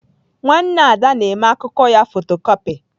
Nwanne Ada na-mee akụkọ ya fotocopị.